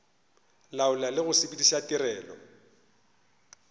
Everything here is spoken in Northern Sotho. laola le go sepediša tirelo